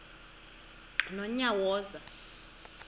nonyawoza